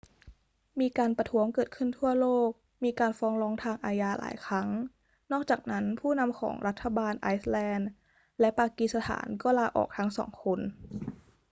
มีการประท้วงเกิดขึ้นทั่วโลก มีการฟ้องร้องทางอาญาหลายครั้ง นอกจากนั้นผู้นำของรัฐบาลไอซ์แลนด์และปากีสถานก็ลาออกทั้งสองคน